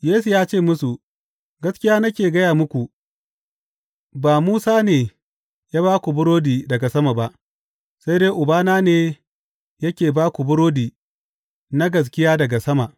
Yesu ya ce musu, Gaskiya nake gaya muku, ba Musa ne ya ba ku burodi daga sama ba, sai dai Ubana ne yake ba ku burodi na gaskiya daga sama.